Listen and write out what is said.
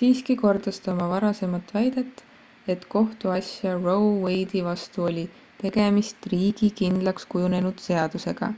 siiski kordas ta oma varasemat väidet et kohtuasja roe wade'i vastu puhul oli tegemist riigi kindlakskujunenud seadusega